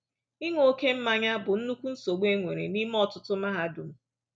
Ịṅụ oké mmanya bụ nnukwu nsogbu e nwere n’ime ọtụtụ mahadum.